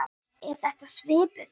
Er þetta svipuð